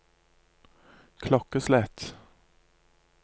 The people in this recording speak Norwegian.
klokkeslett